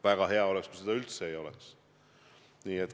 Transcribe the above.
Väga hea oleks, kui seda üldse ei oleks.